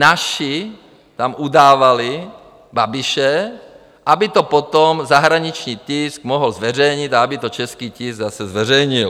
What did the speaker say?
Naši tam udávali Babiše, aby to potom zahraniční tisk mohl zveřejnit a aby to český tisk zase zveřejnil.